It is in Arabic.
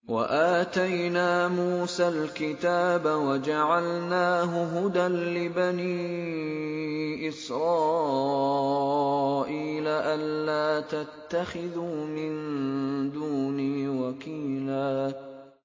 وَآتَيْنَا مُوسَى الْكِتَابَ وَجَعَلْنَاهُ هُدًى لِّبَنِي إِسْرَائِيلَ أَلَّا تَتَّخِذُوا مِن دُونِي وَكِيلًا